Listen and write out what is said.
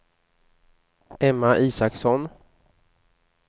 Emma Isaksson